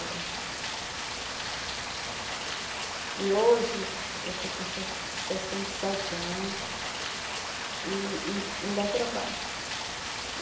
É. E hoje eu estou com se sessenta e sete anos e e ainda trabalho.